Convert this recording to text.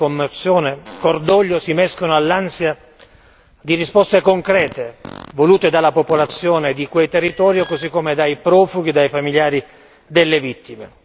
Morte, commozione, cordoglio si mescolano all'ansia di risposte concrete, volute dalla popolazione di quei territori così come dai profughi, dai familiari delle vittime.